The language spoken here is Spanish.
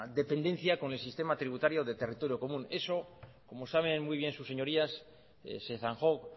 dependencia con el sistema tributario del territorio común eso como saben muy bien sus señorías se zanjó